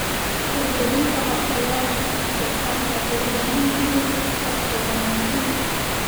Hirgelinta qorshayaasha wax-soo-saarku waxay u baahan yihiin iskaashi wanaagsan.